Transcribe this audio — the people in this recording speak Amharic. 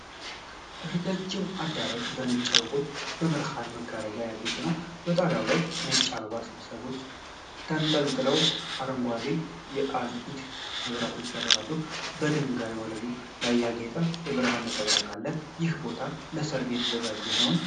ረጃጅም አዳራሽ በነጭ አበቦችና በብርሃን መጋረጃዎች ያጌጠ ነው። ጣሪያው ላይ ነጭ የአበባ ስብስቦች ተንጠልጥለው አረንጓዴ የኤልኢዲ መብራቶች ያበራሉ። የድንጋይ ወለሉ ላይ ያጌጠ የብርሃን ነጸብራቅ አለ፤ ይህ ቦታ ለሠርግ የተዘጋጀ ነው?